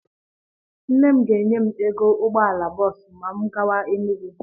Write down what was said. Nne m ga-enye m ego ụgbọala bọọsụ ma m gaba Enugwu.